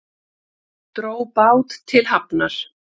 Dró bát til hafnar